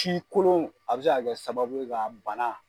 Ci kolon a bi se a kɛ sababu ye ka bana